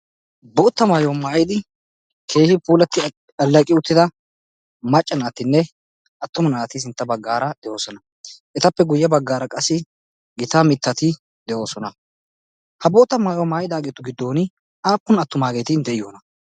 bootta maayuwa maayidi keehi puulatti allaqi uttida macca naatinne attuma naati sintta baggaara deoosona. etappe guyye baggaara qassi gitaa mittati de'oosona ha bootta maayuaa maayidaageetu giddon aappun attumaageeti de'iyoona?